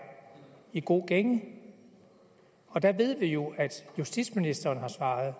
i god gænge og der ved vi jo at justitsministeren har svaret